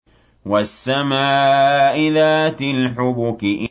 وَالسَّمَاءِ ذَاتِ الْحُبُكِ